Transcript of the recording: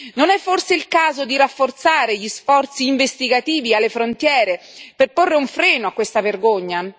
Non è forse il caso di rafforzare gli sforzi investigativi alle frontiere per porre un freno a questa vergogna?